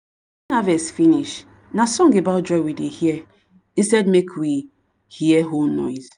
harvest finish na song about joy we dey here instead make we here hoe noise.